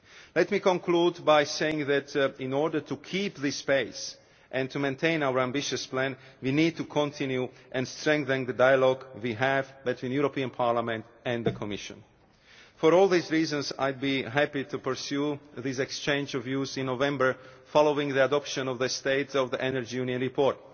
Let me conclude by saying that, in order to keep up this pace and to maintain our ambitious plan, we need to continue strengthening the dialogue we have between Parliament and the Commission. For all these reasons, I would be happy to pursue this exchange of views in November, following the adoption of the State of the Energy Union report.